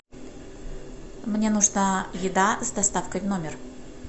мне нужна еда с доставкой в номер